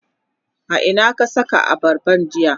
a Ina ka Saka abarban jiya?